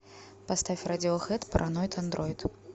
поставь радиохэд параноид андроид